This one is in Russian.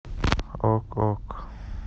ок ок